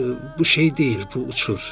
Bu şey deyil, bu uçur.